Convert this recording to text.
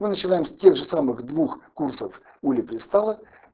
мы начинаем с тех же самых двух курсов улипристала